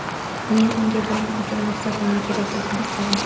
Men unga buning uchun ruxsatnoma kerakligini aytdim.